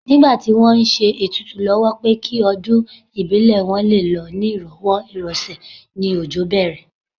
Nígbà tí wọ́n ń ṣe ètùtù lọ́wọ́ pé kí ọdún ìbílẹ̀ wọn lé lọ ní ìrọ̀wọ́ ìrọsẹ̀ ni òjò bẹ̀rẹ̀